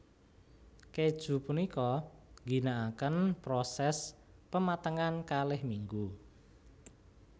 Kèju punika ngginakaken prosès pematengan kalih minggu